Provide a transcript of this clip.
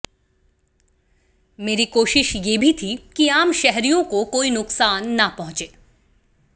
मेरी कोशिश ये भी थी कि आम शहरियों को कोई नुकसान न पहुंचे